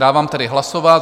Dávám tedy hlasovat.